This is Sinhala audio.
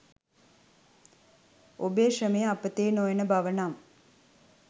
ඔබේ ශ්‍රමය අපතේ නොයන බව නම්